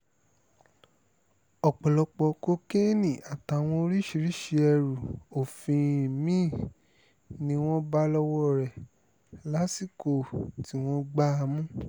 ọ̀pọ̀lọpọ̀ kokéènì àtàwọn oríṣiríṣii ẹrù òfin mí-ín ni wọ́n bá lọ́wọ́ rẹ̀ lásìkò tí wọ́n gbá a mú